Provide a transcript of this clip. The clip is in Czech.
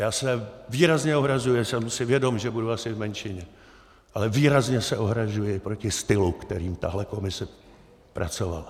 Já se výrazně ohrazuji, a jsem si vědom, že budu asi v menšině, ale výrazně se ohrazuji proti stylu, kterým tahle komise pracovala.